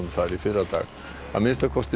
að minnsta kosti þrír hafa látist